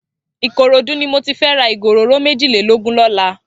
Ikorodu ni mò ti fè rà igó óróró méjilélógùn lòlá